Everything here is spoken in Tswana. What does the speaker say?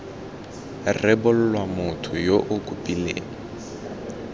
rebolwa motho yo o kopileng